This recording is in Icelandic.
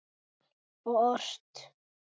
Og ort.